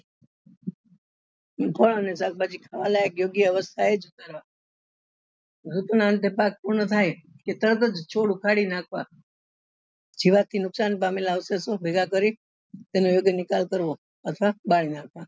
ફળ અને શાકભાજી ખાવા લાયક યોગ્ય અવસ્થા એ જ ઉગાડવા તરત જ છોડ ઉખાડી નાખવા જીવાત થી નુકસાન પામેલા અવશેષો ભેગા કરી તેનો યોગ્ય નિકાલ કરવો અથવા બાળી નાખવા